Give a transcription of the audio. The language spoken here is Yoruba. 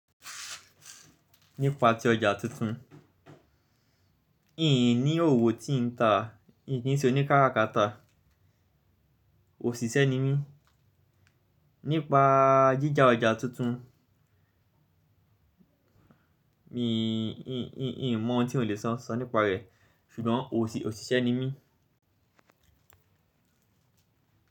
Nípa ti ọjà tuntun, n ní òwò tí n ta, n kì í ṣe oní kárakáta. Òṣìṣẹ́ ni mí. Nípa jíjà ọjà tuntun, mi, n, n, n, n mọ̀ ohun tí mo lè sọ sọ nípa rẹ̀, ṣùgbọ́n òṣìṣẹ́ ni mí.